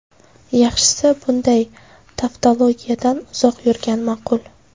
Yaxshisi, bunday tavtologiyadan uzoq yurgan ma’qul.